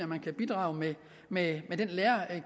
man kan bidrage med